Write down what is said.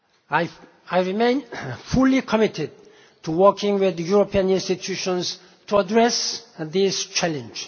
I remain fully committed to working with the European institutions to address this challenge.